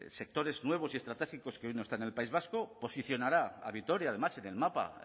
sectores nuevos y estratégicos que hoy no están en el país vasco posicionará a vitoria además en el mapa